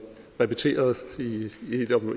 repeteret